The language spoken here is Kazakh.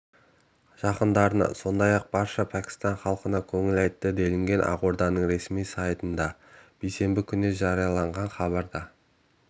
жақындарына сондай-ақ барша пәкістан халқына көңіл айтты делінген ақорданың ресми сайтында бейсенбі күні жарияланған хабарда